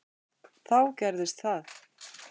Þá gerðist það.